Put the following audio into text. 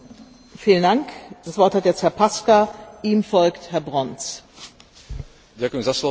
Jednou z tém rokovania Rady Európskej únie bolo aj definovanie nového krízového mechanizmu eurozóny.